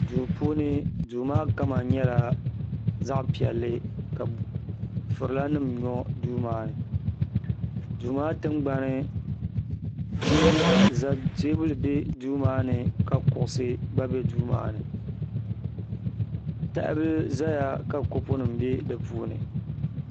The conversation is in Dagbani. duu puuni duu maa kama nyɛla zaɣ piɛlli ka furila nim nyo duu maa ni duu maa tingbani teebuli bɛ duu maa ni ka kuɣusi gba bɛ duu maa ni tahabili ʒɛya ka kopu nim gba bɛ di puuni